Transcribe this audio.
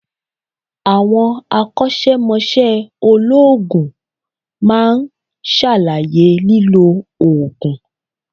Àwọn akósémosé olóòògùn ma ṣàlàyé lílò òògùn